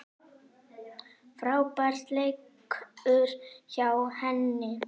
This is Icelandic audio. Frábær leikur hjá henni.